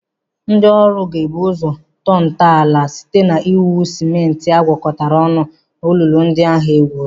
Ndị ọrụ ga-ebu ụzọ tọọ ntọala ụlọ site iwunye sịmentị a gwakọtara ọnụ olulu ndị ahụ e gwuru.